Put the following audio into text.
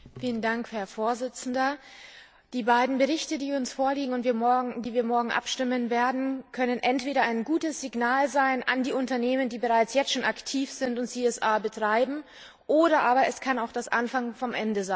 Herr Präsident! Die beiden Berichte, die uns vorliegen und über die wir morgen abstimmen werden, können entweder ein gutes Signal sein an die Unternehmen, die bereits jetzt schon aktiv sind und CSR betreiben, oder aber es kann auch der Anfang vom Ende sein.